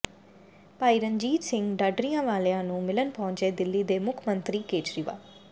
ਭਾਈ ਰਣਜੀਤ ਸਿੰਘ ਢੱਡਰੀਆਂਵਾਲਿਆਂ ਨੂੰ ਮਿਲਣ ਪਹੁੰਚੇ ਦਿੱਲੀ ਦੇ ਮੁੱਖ ਮੰਤਰੀ ਕੇਜਰੀਵਾਲ